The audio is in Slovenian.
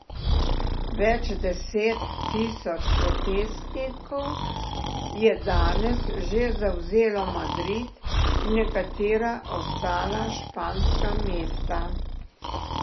Več deset tisoč protestnikov je danes že zavzelo Madrid in nekatera ostala španska mesta.